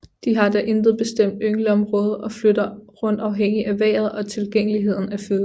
De har da intet bestemt yngleområde og flytter rundt afhængig af vejret og tilgængeligheden af føde